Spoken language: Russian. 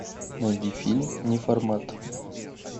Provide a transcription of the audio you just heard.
найди фильм неформат